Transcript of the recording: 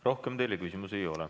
Rohkem teile küsimusi ei ole.